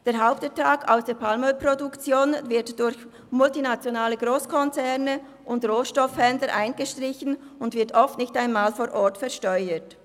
Der Hauptertrag aus der Palmölproduktion wird durch multinationale Grosskonzerne und Rohstoffhändler eingestrichen und oft nicht einmal vor Ort versteuert.